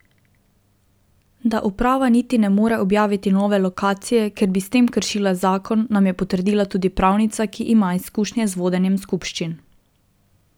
Da uprava niti ne more objaviti nove lokacije, ker bi s tem kršila zakon, nam je potrdila tudi pravnica, ki ima izkušnje z vodenjem skupščin.